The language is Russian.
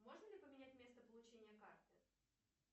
можно ли поменять место получения карты